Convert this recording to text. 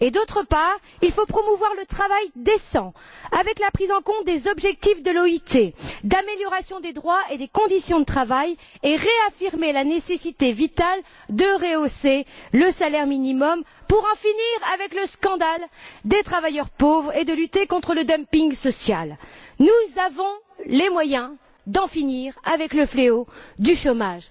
D'autre part, il faut promouvoir le travail décent avec la prise en compte des objectifs de l'OIT d'amélioration des droits et des conditions de travail, et réaffirmer la nécessité vitale de rehausser le salaire minimum pour en finir avec le scandale des travailleurs pauvres et lutter contre le dumping social. Nous avons les moyens d'en finir avec le fléau du chômage.